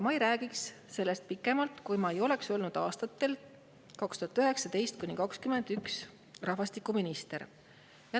Ma ei räägikski sellest pikemalt, kui ma ei oleks olnud rahvastikuminister aastatel 2019–2021.